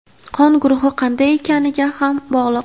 qon guruhi qanday ekaniga ham bog‘liq.